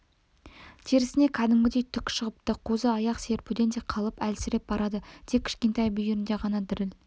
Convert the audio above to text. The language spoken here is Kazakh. терісіне кәдімгідей түк шығыпты қозы аяқ серпуден де қалып әлсіреп барады тек кішкентай бүйірінде ғана діріл